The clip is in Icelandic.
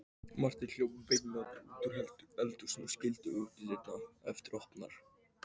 Marta hljóp veinandi útúr eldhúsinu og skildi útidyrnar eftir opnar.